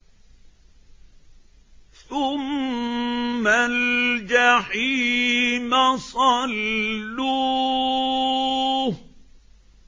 ثُمَّ الْجَحِيمَ صَلُّوهُ